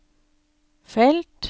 felt